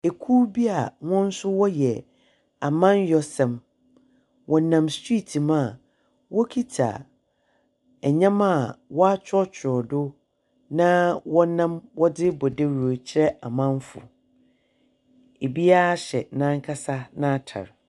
Ekuw bi a hɔn nso wɔyɛ amannyɔsɛm. Wɔnam striiti mu a wɔkita nneɛma a wɔatwerɛtwerɛw do, na wɔnam wɔdze rebɔ dawuro kyerɛ amanfo. Obiara ahyɛ n'ankasa n'atar.